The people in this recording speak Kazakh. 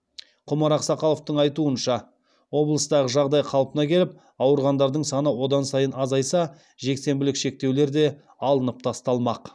құмар ақсақаловтың айтуынша облыстағы жағдай қалпына келіп ауырғандардың саны одан сайын азайса жексенбілік шектеулер де алынып тасталмақ